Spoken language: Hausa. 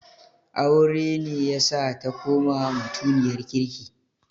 Aure ne yasa ta koma mutiniyar kirki.